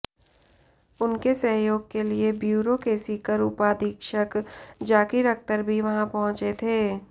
उनके सहयोग के लिए ब्यूरो के सीकर उपाधीक्षक जाकिर अख्तर भी वहां पहुंचे थे